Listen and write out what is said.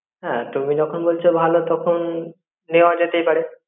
হ্যাঁ তুমি যখন বলছো ভালো তখন নেওয়া যেতেই পরে